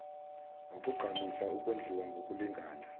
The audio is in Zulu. wakugqamisa ukondliwa ngokulingana